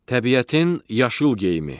Təbiətin yaşıl geyimi.